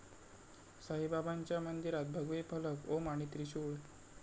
साईबाबांच्या मंदिरात भगवे फलक ओम आणि त्रिशूळ